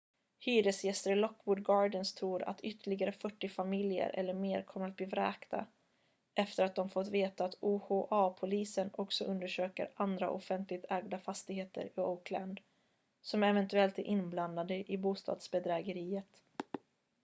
hyresgäster i lockwood gardens tror att ytterligare 40 familjer eller mer kommer att bli vräkta efter att de fått veta att oha-polisen också undersöker andra offentligt ägda fastigheter i oakland som eventuellt är inblandade i bostadsbedrägeriet